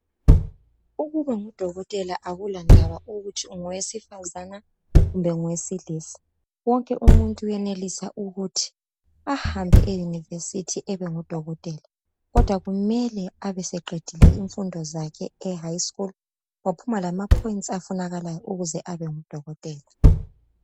Ukuba ngudokotela akulandaba ukuthi ungowesifazana kumbe ungowesilisa. Wonke umuntu uyenelisa ukuthi ahambe eyunivesithi ebe ngudokotela. Kodwa kumele ebeseqedile izifundo zakhe ehayi skulu, waphuma lamaphoyintsi afunakalayo ukuze abe ngudokotela.